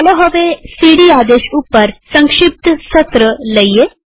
ચાલો હવે સીડી આદેશ ઉપર સંક્ષિપ્ત સત્રસેશન લઈએ